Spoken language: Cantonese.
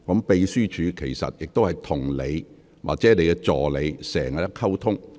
秘書處經常與議員或議員助理就此作出溝通。